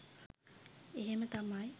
එහෙම තමයි